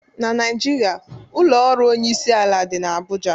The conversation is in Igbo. Na Naijiria ụlọ ọrụ onyeisiala dị n'Abụja